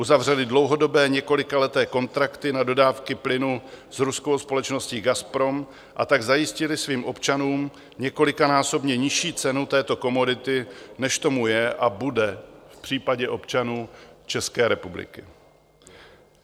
Uzavřely dlouhodobé, několikaleté kontrakty na dodávky plynu s ruskou společností Gazprom, a tak zajistily svým občanům několikanásobně nižší cenu této komodity, než tomu je a bude v případě občanů České republiky.